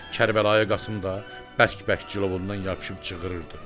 Kərbəlayı Qasım da bərk-bərk cilovundan yapışıb cığırırdı.